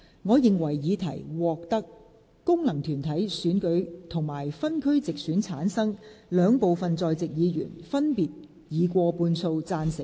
我認為議題獲得經由功能團體選舉產生及分區直接選舉產生的兩部分在席議員，分別以過半數贊成。